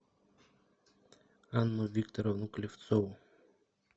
анну викторовну клевцову